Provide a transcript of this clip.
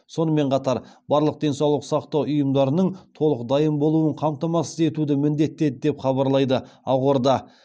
сонымен қатар барлық денсаулық сақтау ұйымдарының толық дайын болуын қамтамасыз етуді міндеттеді деп хабарлайды ақорда